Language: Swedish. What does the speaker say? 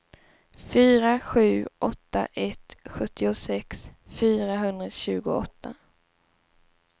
fyra sju åtta ett sjuttiosex fyrahundratjugoåtta